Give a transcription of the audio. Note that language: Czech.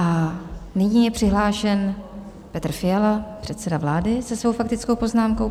A nyní je přihlášen Petr Fiala, předseda vlády, se svou faktickou poznámkou.